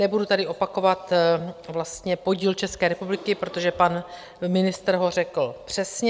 Nebudu tady opakovat podíl České republiky, protože pan ministr ho řekl přesně.